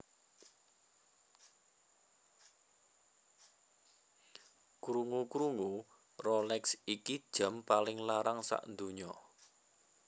Krungu krungu Rolex iki jam paling larang sakdunya